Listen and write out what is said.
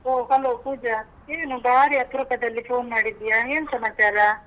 ಒಹ್. hello Pooja. ಏನು ಬಾರಿ ಅಪರೂಪದಲ್ಲಿ phone ಮಾಡಿದ್ಯಾ. ಏನ್ ಸಮಾಚಾರ?